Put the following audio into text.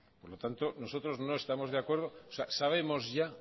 por lo tanto nosotros no estamos de acuerdo sabemos ya